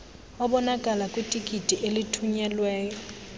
obonakala kwitikiti olithunyelweyo